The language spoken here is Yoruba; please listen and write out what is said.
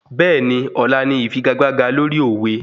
Bẹ́ẹ̀ni, ọ̀la ni ìfigagbága lórí òwe